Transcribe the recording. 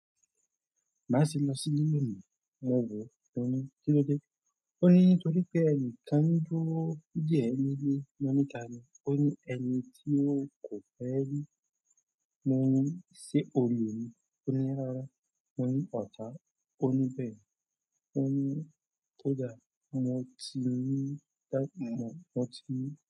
Máṣe lọ sí lílù òní, má bo. O ní kí ló dé? O ní nítorí pé ẹni kan dúró dè ẹ́ nílé mo ní ta ni? Ó ní ẹni tí ò kò fẹ́ rí mọ ní í ṣe olè ni, o ní rárá, o ní ọ̀tá, o ní bẹ́ẹ̀, o ní kò dára, mo ti ní ta, mo ti.